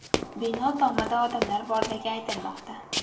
Bino tomida odamlar borligi aytilmoqda.